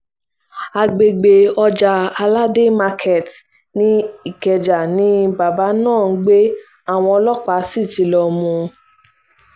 àgbègbè ọjà aládé market[ ní ikeja ni bàbá náà ń gbé àwọn ọlọ́pàá sí ti lọ mú